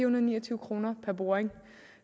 og ni og tyve kroner per boring